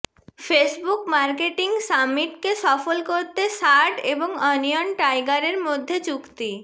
Facebook marketing সামিটকে সফল করতে সার্ড এবং ওনিয়ন টাইগারের মধ্যে চুক্তি